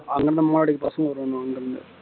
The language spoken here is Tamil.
அங்க நம்மோளம் அடிக்க பசங்க வருவாங்க அங்க இருந்து